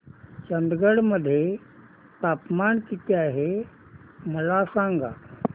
चंदगड मध्ये तापमान किती आहे मला सांगा